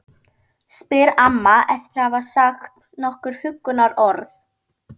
spyr amma eftir að hafa sagt nokkur huggunarorð.